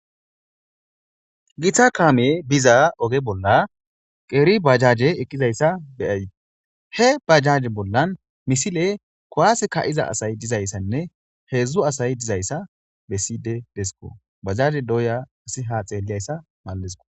Githa kaame biza oge bolla qeeri bajaje eqqizayssa beyay he bajaje bollan misile kowas ka7iza asay dizayssanne heedzdzu asay dizayssa besside desko bajaje doya asiha xeelliyayssa mallesko.